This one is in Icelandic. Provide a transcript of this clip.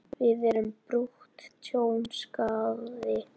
Þar er bugur tjón, skaði.